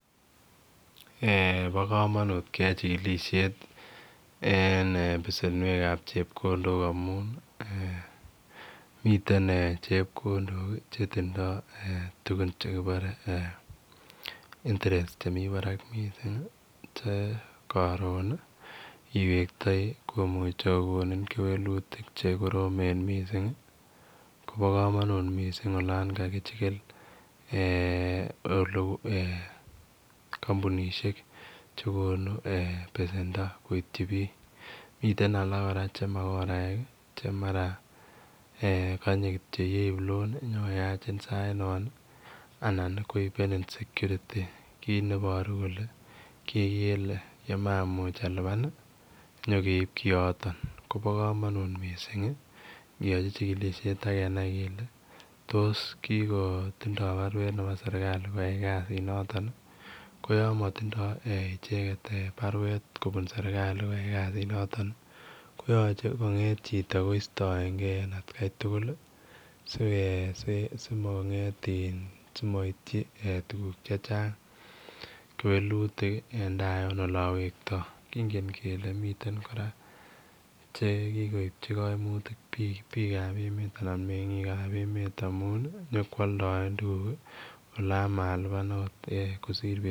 Eh bo kamanut keyai chikilisiet en besenweek ab chepkondok amuun miten chepkondok che tindoi tugun chekibare eeh [interest] che mii Barak missing che karoon iwegtoi komuchei kogonin kewelutiik che koromeen missing ii kobo kamanut olaan kakichigil eeh ole eeh kampunisheek chekonuu besendo koityi biik mitten alaak che makoraek kanyei kityo yeib loan inyo koyachiin saint noon anan ii koibenin [security] kit nebaru kole kigele ye maimuuch alupaan inyo keib karoon koba kamanut missing kiachii chikilisiet ak kenai kele tos kiko tindoi baruet nebo serikali koyai kasiit nooton ii ko yamaa tindoi ichegeet baruet kobuun serikali kasiit nitoon koyache kongeet chitoo koistaenngei en at Kai tuguul ii sike mongeet in simaityi tuguuk che chaang ko kewelutiik en taa toon olaan wektoi kingen kele miten kora che kikoipchii kaimutiuk biik ab emet anan mengiik ab emet amuun inyokoaldaen tuguuk olaan malipaan akoot kosiir betut.